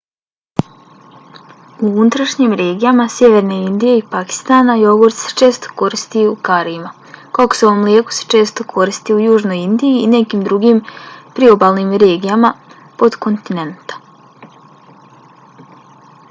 u unutrašnjim regijama sjeverne indije i pakistana jogurt se često koristi u karijima. kokosovo mlijeko se često koristi u južnoj indiji i nekim drugim priobalnim regijama potkontinenta